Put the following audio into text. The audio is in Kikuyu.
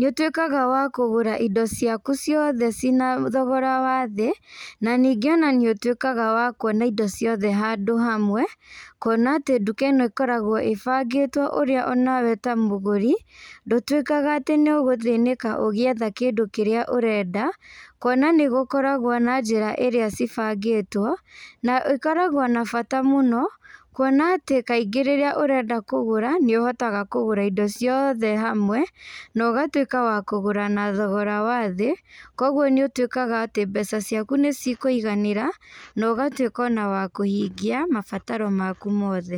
nĩũtuĩkaga wa kũgũra indo ciaku ciothe cina thogora wa thĩ, na nĩingĩ ona nĩũtuĩkaga wa kuona indo ciothe handũ hamwe, kuona atĩ nduka ĩno ĩkoragwo ĩbangĩtwo ũrĩa ona we ta mũgũri, ndũtuĩkaga atĩ nĩũgũthĩnĩka ũgĩetha kĩndũ kĩrĩa ũrenda, kuona nĩgũkoragwo na njĩra iria cibangĩtwo, na ĩkoragwo na bata mũno, kuona atĩ kaingĩ rĩrĩa ũrenda kũgũra, nĩũhotaga kũgũra indo ciothe hamwe, na ũgatuĩka wa kũgũra na thogora wa thĩ, koguo nĩũtuĩkaga atĩ mbeca ciaku nĩcikũiganĩra, na ũgatuĩka ona wa kũhingia, mabataro maku mothe.